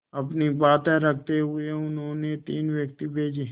अपनी बात रखते हुए उन्होंने तीन व्यक्ति भेजे